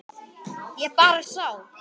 Ég bara sá.